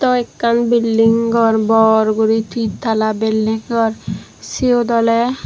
aro ekkan building gor bor guri tinntala building gor siyot oley.